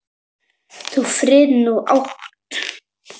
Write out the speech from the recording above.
Þú frið nú átt.